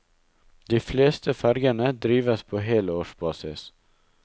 De fleste fergene drives på helårsbasis.